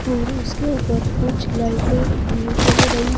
और उसके ऊपर कुछ लाइटे भी जल रही--